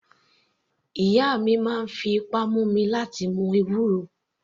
Ìyá mi máa ń fi ipá mú mi láti mu ewúro.